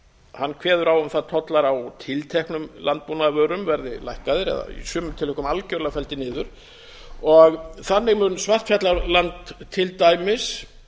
hann kveður á um að tollar á tilteknum landbúnaðarvörum verði lækkaðir eða í sumum tilvikum algjörlega felldir niður og þannig mun svartfjallaland til dæmis